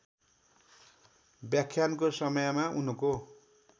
व्याख्यानको समयमा उनको